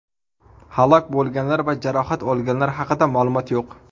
Halok bo‘lganlar va jarohat olganlar haqida ma’lumot yo‘q.